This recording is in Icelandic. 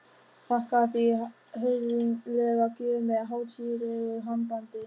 Þakkaði fyrir höfðinglega gjöf með hátíðlegu handabandi.